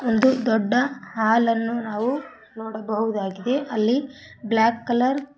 ಒಂದು ದೊಡ್ಡ ಹಾಲ್ ಅನ್ನು ನಾವು ನೋಡಬಹುದಾಗಿದೆ ಅಲ್ಲಿ ಬ್ಲಾಕ್ ಕಲರ್ --